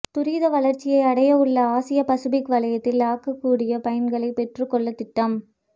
துரித வளர்ச்சியடைவுள்ள ஆசிய பசுபிக் வலயத்தில் ஆகக்கூடிய பயன்களை பெற்றுக்கொள்ள திட்டம்